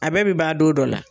A bɛɛ bɛ ba don dɔ la.